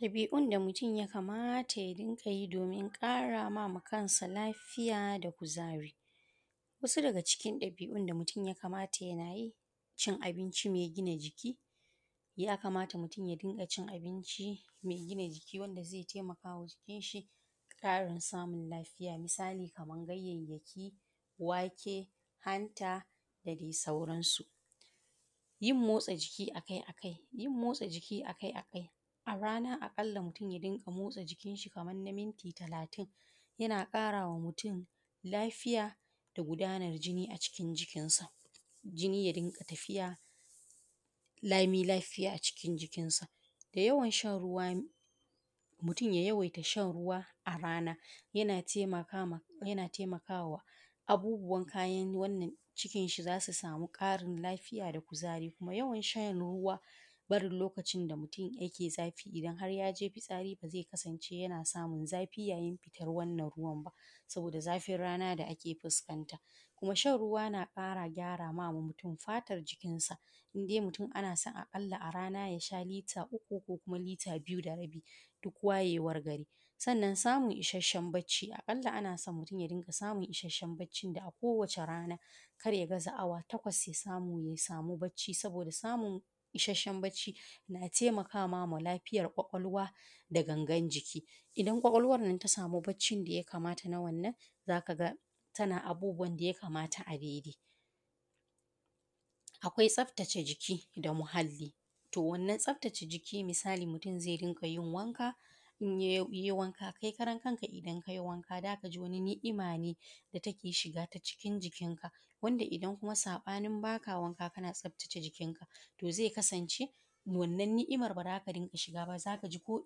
Ɗabi’iun da mutum ya kamata ya dinga yi domin ƙara ma kansa lafiya da kuzari: wasu daga cikin ɗabi’un da mutum ya kamata yana yi: cin abinci mai gina jiki, ya kamata mutum ya dinga cin abinci mai gina jiki wanda zai taimakwa jikinshi ƙarin samun lafiya. Misali, kamar ganyayyaki, wake, hanta da dai sauransu. Yin motsa jiki a kai a kai: yin motsa jiki a kai a kai, a rana a ƙalla mutum ya dinga motsa jikinshi kaman na minti talatin yana ƙara wa mutum lafiya da gudanar jini a cikin jikinsa, jini ya dinga tafiya lami lafiya a cikin jikinsa. Yawan shan ruwa: mutum ya yawaita shan ruwa a rana yana taimaka ma, yana taimaka wa abubuwan kayan wannan, cikinshi za su samu ƙarin lafiya da kuzari kuma yawan shan ruwa, barin lokacin da mutum yake zafi idan har ya je fitsari ba zai kasance yana samun zafi yayin fitar wannan ruwan ba, saboda zafin rana da ake fuskanta. Kuma shan ruwa na ƙara gyara ma mutum fatar jikinsa, in dai mutum ana son a ƙalla a rana ya sha ruwa lita uku ko kuma lita biyu da rabi, duk wayewar gari. Sannan samun isashen barci a ƙalla ana son mutum ya dinga samun isasshen barcin da a kowace rana kar ya gaza awa takwas, ya samu ya samu barci saboda samun isasshen barci na taimaka ma lafiyar ƙwaƙwalwa da gangan jiki. Idan ƙwaƙwalwar nan ta samu barcin da ya kamata na wannan, za ka ga tana abubuwan da ya kamata a daidai. Akwai tsaftace jiki da muhalli: to wannan tsaftace jiki misali mutum zai dinga yin wanka, in ya yi wanka, kai karan kanka idan ka yi wanka, za ka ji wani ni’ima ne take shiga ta cikin jikinka, wanda idan kuma saɓanin ba ka wanka, kana tsaftace jikinka, to zai kasance wannan ni’imar ba za ta dinga shiga ba, za ka ji ko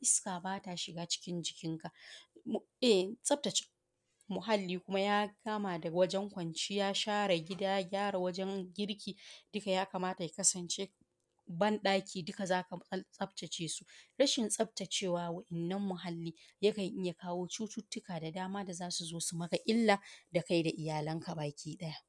iska ba ta shiga cikin jikinka. Tsaftace muhalli kuma ya kama da wajen kwanciya, share gida, gyara wajen girki, duka ya kamata ya kasance ban-ɗaki duka za ka tsaftace su. Rashin tsaftacewa waɗannan muhalli yakan iya kawo cututtuka da dama da za su zo su maka illa da kai da iyalanka gabaki ɗaya.